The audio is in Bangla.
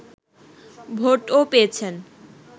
ভোটও পেয়েছেন